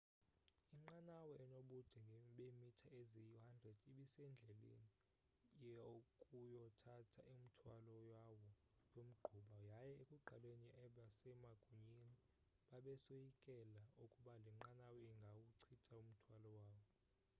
inqanawa enobude beemitha eziyi-100 ibisendleleni yokuyothatha umthwalo yawo yomgquba yaye ekuqaleni abasemagunyeni bebesoyikela ukuba le nqanawa ingawuchitha umthwalo wawo